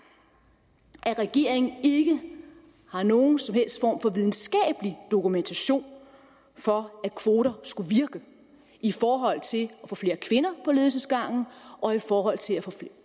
at regeringen ikke har nogen som helst form for videnskabelig dokumentation for at kvoter skulle virke i forhold til at få flere kvinder på ledelsesgangen og i forhold til at få